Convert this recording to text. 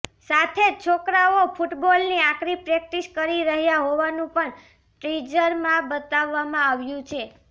સાથે જ છોકરાઓ ફૂટબોલની આકરી પ્રેક્ટિસ કરી રહ્યા હોવાનું પણ ટીઝરમાં બતાવવામાં આવ્યું છે